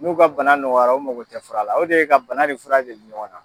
N'o ka bana nɔgɔyara o mago tɛ fura o de ye ka bana de fura dege ɲɔgɔn na